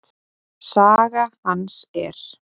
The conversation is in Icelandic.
Saga hans er